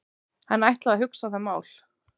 Hann ætlaði að hugsa það mál.